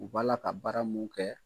U b'a la ka baara mun kɛ.